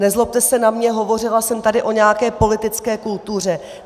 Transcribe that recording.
Nezlobte se na mě, hovořila jsem tady o nějaké politické kultuře.